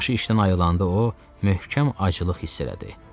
Başı işdən ayrılanda o möhkəm acılıq hiss elədi.